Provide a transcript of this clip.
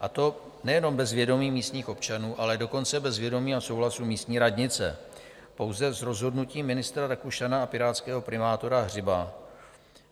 a to nejenom bez vědomí místních občanů, ale dokonce bez vědomí a souhlasu místní radnice, pouze z rozhodnutí ministra Rakušana a pirátského primátora Hřiba.